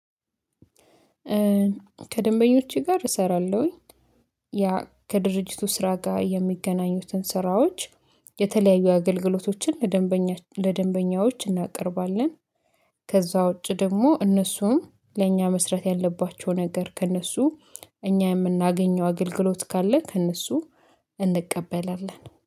ከደንበኞቼ ጋር እሰራለሁኝ። ያ ከድርጅቱ ስራ ጋር የሚገናኙትን ስራዎች የተለያዩ አገልግሎቶችን ለደንበኛ ለደንበኛዎች እናቀርባለን። ከዛ ውጪ ደግሞ እነሱም ለእኛ መስራት ያለባቸው ነገር ከእነሱ እኛ የምናገኘው አገልግሎት ካለ ከእነሱ እንቀበላለን